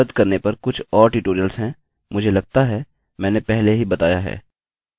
directory सूचीबद्ध करने पर कुछ और ट्यूटोरियल्स हैं मुझे लगता है मैंने पहले ही बताया है